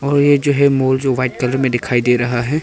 और ये जो है मॉल जो व्हाइट कलर में दिखाई दे रहा है।